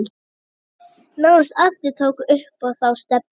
Nánast allir tóku upp þá stefnu